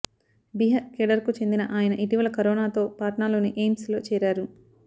Bihar cadre కు చెందిన ఆయన ఇటీవల కరోనాతో పాట్నాలోని ఎయిమ్స్ లో చేరారు